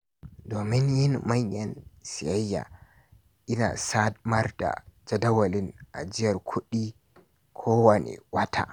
Domin yin manyan sayayya, ina samar da jadawalin ajiyar kuɗi kowane wata.